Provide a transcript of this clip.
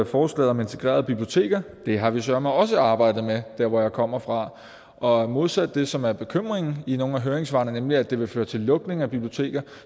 forslaget om integrerede biblioteker det har vi søreme også arbejdet med der hvor jeg kommer fra og modsat det som er bekymringen i nogle af høringssvarene nemlig at det vil føre til lukning af biblioteker